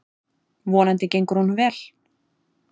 Vonandi gengur honum vel.